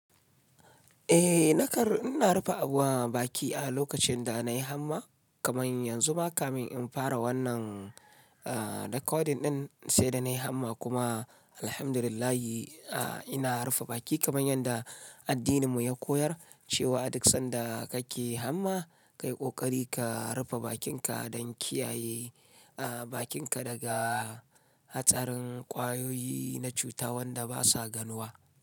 Eh na kar in na rufe abun baki a lokacin da na yi hamma kaman yanzu ma kamin in fara wannan ah recording ɗin sai da na yi hamma kuma alhamdulillahi ah ina rufe baki kaman yanda addinin mu ya koyar cewa duk sanda kake hamma ka yi ƙoƙari ka rufe bakinka don kiyaye ah bakinka daga hatsarin ƙwayoyi na cuta wanda basa ganuwa.